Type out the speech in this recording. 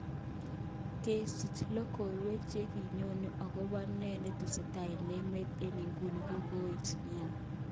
Kesich lokowek chekiyoni ogopo ne netesetai eng emet eng iguni kokouit nia.